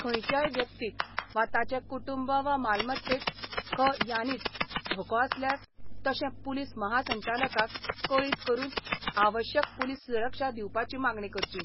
खंयच्याय व्यक्तीक वा ताचे कुटुंब वा मालमत्तेक ख यानीच धोको आसल्यार तशें पुलीस महासंचालकाक कळीत करून आवश्यक पुलीस सुरक्षा दिवपाची मागणी करची.